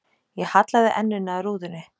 Ég hallaði enninu að rúðunni.